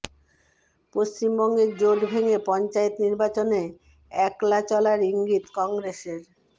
পশ্চিমবঙ্গে জোট ভেঙে পঞ্চায়েত নির্বাচনে একলা চলার ইঙ্গিত কংগ্রেসের